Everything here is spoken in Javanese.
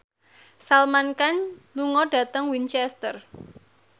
Salman Khan lunga dhateng Winchester